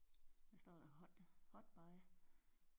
Hvad står der? Hot hot by?